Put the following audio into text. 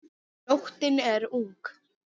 Nóttin er ung